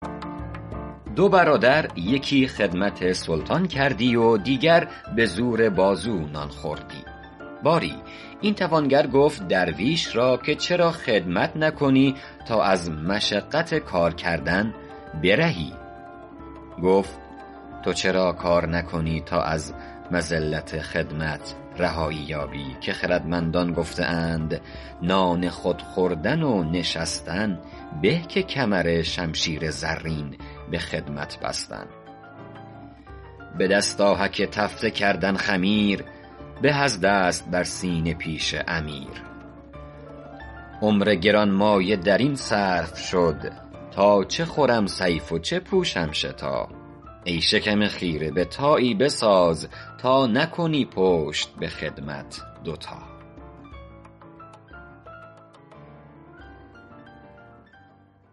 دو برادر یکی خدمت سلطان کردی و دیگر به زور بازو نان خوردی باری این توانگر گفت درویش را که چرا خدمت نکنی تا از مشقت کار کردن برهی گفت تو چرا کار نکنی تا از مذلت خدمت رهایی یابی که خردمندان گفته اند نان خود خوردن و نشستن به که کمرشمشیر زرین به خدمت بستن به دست آهک تفته کردن خمیر به از دست بر سینه پیش امیر عمر گرانمایه در این صرف شد تا چه خورم صیف و چه پوشم شتا ای شکم خیره به تایی بساز تا نکنی پشت به خدمت دو تا